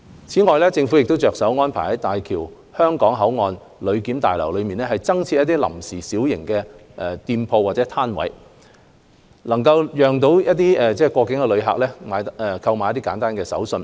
此外，政府正着手安排在大橋香港口岸旅檢大樓內增設臨時小型店鋪或攤位，讓旅客購買簡單的手信。